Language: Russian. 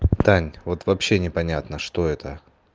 тань вот вообще непонятно что это